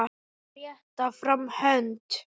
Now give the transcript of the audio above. Að rétta fram hönd